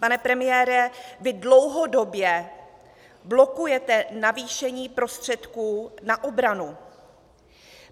Pane premiére, vy dlouhodobě blokujete navýšení prostředků na obranu.